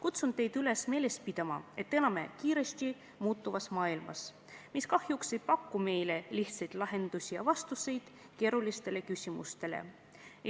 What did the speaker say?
Kutsun teid üles meeles pidama, et elame kiiresti muutuvas maailmas, mis kahjuks ei paku lihtsaid lahendusi keerulistele probleemidele.